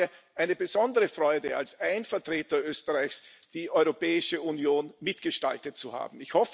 Es war mir eine besondere Freude, als ein Vertreter Österreichs die Europäische Union mitgestaltet zu haben.